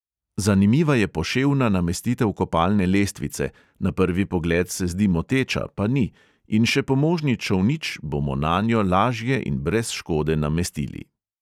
Zanimiva je poševna namestitev kopalne lestvice; na prvi pogled se zdi moteča, pa ni, in še pomožni čolnič bomo nanjo lažje in brez škode namestili.